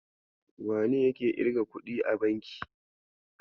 Wane yake irga kuɗi a banki?